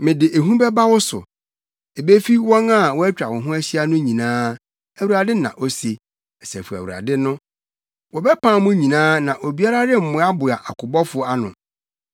Mede ehu bɛba wo so, ebefi wɔn a wɔatwa wo ho ahyia no nyinaa,” Awurade na ose, Asafo Awurade no. “Wɔbɛpam mo nyinaa, na obiara remmoaboa akobɔfo ano.